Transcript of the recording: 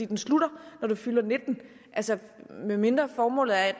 den slutter når du fylder 19 altså med mindre formålet er at